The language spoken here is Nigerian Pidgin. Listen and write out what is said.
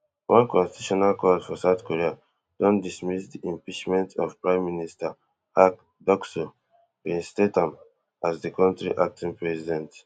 one constitutional court for south korea don dismiss di impeachment of prime minister han ducksoo reinstate am as di kontri acting president